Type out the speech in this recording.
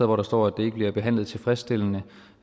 hvor der står at det ikke bliver behandlet tilfredsstillende